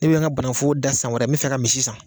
Ne bɛ n ka banafo dan san wɛrɛ n bɛ fɛ ka misi san